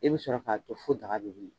E bɛ sɔrɔ k'a to fo daga bɛ wuli.